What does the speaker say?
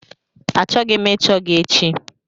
Achọghị m ịchọ gị echi!